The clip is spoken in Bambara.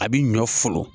A bi ɲɔ folo